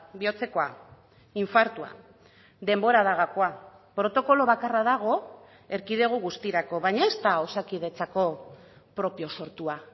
bihotzekoa infartua denbora da gakoa protokolo bakarra dago erkidego guztirako baina ez da osakidetzako propio sortua